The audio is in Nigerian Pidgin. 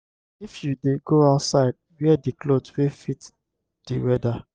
if you dey go outside wear di cloth wey fit di weather